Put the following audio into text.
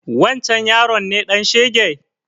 Wancen yaron ne ɗan shege?